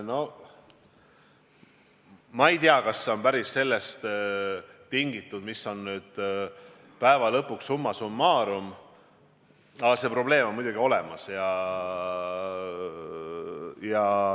Noh, ma ei tea, kas see on päris sellest tingitud, mis see teadusrahastus lõpuks summa summarum on, ehkki probleem on muidugi olemas.